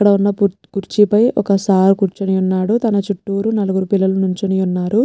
అక్కడవున్న కుర్చీపై ఒక్క సర్ కుర్చొని ఉన్నాడు తన చూటూరు నలుగురు పిల్లలు నిల్చొని ఉన్నారు.